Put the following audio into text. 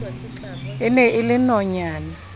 e ne e le nonyana